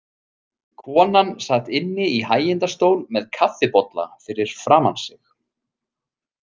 Konan sat inni í hægindastól með kaffibolla fyrir framan sig.